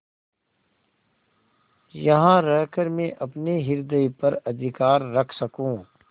यहाँ रहकर मैं अपने हृदय पर अधिकार रख सकँू